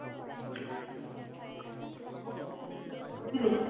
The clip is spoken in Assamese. বুজিলি?